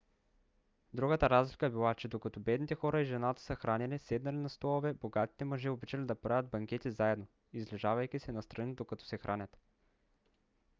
другата разлика била че докато бедните хора и жената се хранели седнали на столове богатите мъже обичали да правят банкети заедно излежавайки се настрани докато се хранят